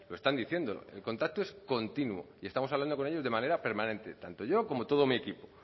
pero están diciendo el contacto es continuo y estamos hablando con ellos de manera permanente tanto yo como todo mi equipo